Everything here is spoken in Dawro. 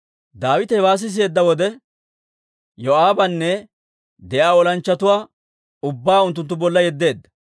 Daawite hewaa siseedda wode, Yoo'aabanne de'iyaa olanchchatuwaa ubbaa unttunttu bolla yeddeedda.